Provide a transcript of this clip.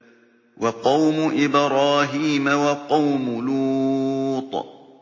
وَقَوْمُ إِبْرَاهِيمَ وَقَوْمُ لُوطٍ